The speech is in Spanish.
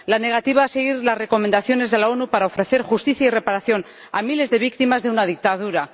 la negativa a seguir las recomendaciones de las Naciones Unidas para ofrecer justicia y reparación a miles de víctimas de una dictadura